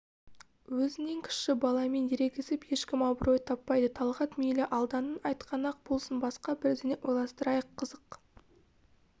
өзінен кіші баламен ерегісіп ешкім абырой таппайды талғат мейлі алданның айтқаны-ақ болсын басқа бірдеңе ойластырайық қызық